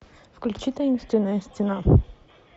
включи таинственная стена